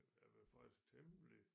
Jeg blev faktisk temmelig